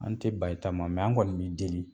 An tɛ ban i ta ma an kɔni m'i deli.